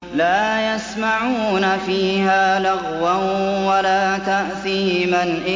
لَا يَسْمَعُونَ فِيهَا لَغْوًا وَلَا تَأْثِيمًا